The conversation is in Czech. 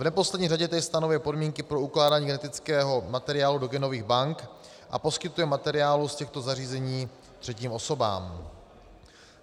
V neposlední řadě též stanovuje podmínky pro ukládání genetického materiálu do genových bank a poskytuje materiály z těchto zařízení třetím osobám.